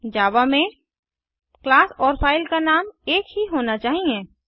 जावा में क्लास और फ़ाइल का नाम एकही होना चाहिए